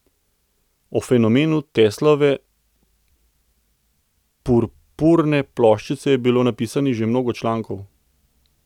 O fenomenu Teslove purpurne ploščice je bilo napisanih že mnogo člankov.